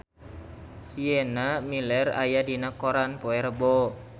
Sienna Miller aya dina koran poe Rebo